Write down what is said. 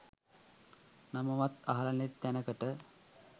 නමවත් අහලා නැති තැනකට.